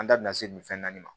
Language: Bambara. An da bina se nin fɛn naani ma